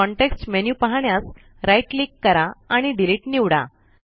context menu पाहण्यास right click करा आणि डिलीट निवडा